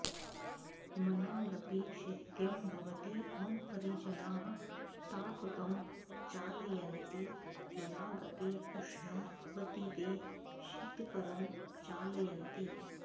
मनागपि शैत्यं भवति मम परिजनाः तापकं चालयन्ति मनागपि ऊष्णं भवति ते शीतकरं चालयन्ति